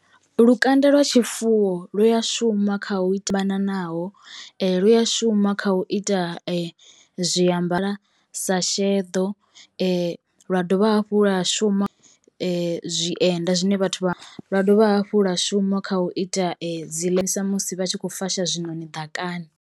Lukanda lwa tshifuwo lu ya shuma kha u ita fhananaho lu ya shuma kha u ita zwiambara sa sheḓo, lwa dovha hafhu lwa shuma zwienda zwine vhathu vha..., lwa dovha hafhu lwa shuma kha u ita dzi musi vha tshi khou fasha zwiṋoni ḓakani.